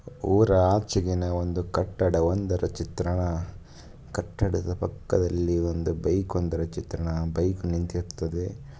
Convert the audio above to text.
ಊರ ಆಚೆಗಿನ ಒಂದು ಕಟ್ಟಡವೊಂದರ ಚಿತ್ರಣ ಕಟ್ಟಡದ ಪಕ್ಕದಲ್ಲಿ ಒಂದು ಬೈಕ್ ಒಂದರ ಚಿತ್ರಣ ಬೈಕ್ ನಿಂತಿರುತ್ತದೆ.